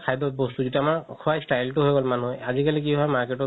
খাদ্য বস্তু যিতো আমাৰ খুৱা style তো হৈ গ'ল মানুহে আজি কালি কি হয় market ত